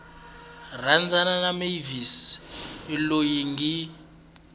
rhandzana na mavis loyi ngi